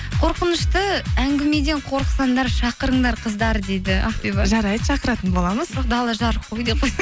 қорқынышты әңгімеден қорықсаңдар шақырыңдар қыздар дейді ақбибі жарайды шақыратын боламыз бірақ дала жарық қой деп